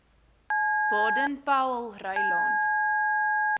baden powellrylaan